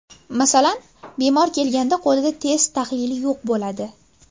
Masalan, bemor kelganda qo‘lida test tahlili yo‘q bo‘ladi.